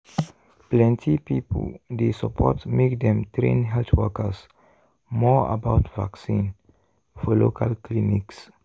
plenty people dey support make dem train health workers more about vaccine for local clinics.